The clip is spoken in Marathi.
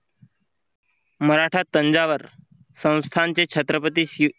मराठा तंजावर संस्थांचे छत्रपती